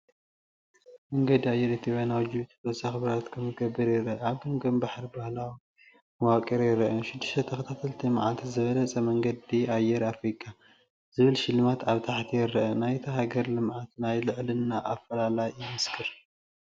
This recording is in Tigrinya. መንገዲ ኣየር ኢትዮጵያ ናብ ጅቡቲ ተወሳኺ በረራታት ከምዝገብር ይረአ። ኣብ ገምገም ባሕሪ ባህላዊ መዋቕር ይርአ። (ን6 ተኸታተልቲ ዓመታት ዝበለጸ መንገዲ ኣየር ኣፍሪቃ) ዝብል ሽልማት ኣብ ታሕቲ ይርአን ናይታ ሃገር ልምዓት ናይ ልዕልና ኣፈላላይ ይምስክር።